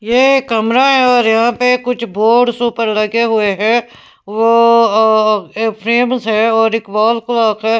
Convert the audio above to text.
ये कमरा है और यहाँ पे कुछ बोर्ड्स ऊपर लगे हुए हैं वो अ फ्रेम्स है और एक वॉल क्लॉक है।